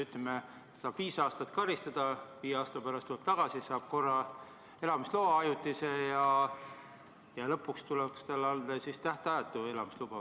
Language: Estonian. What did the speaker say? Ütleme, et inimene saab karistuseks viis aastat, viie aasta pärast tuleb välja, saab korra ajutise elamisloa ja lõpuks tuleks talle anda tähtajatu elamisluba.